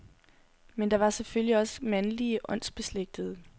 Men der var selvfølgelig også mandlige åndsbeslægtede.